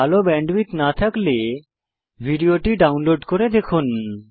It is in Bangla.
ভাল ব্যান্ডউইডথ না থাকলে আপনি ভিডিও টি ডাউনলোড করে দেখুন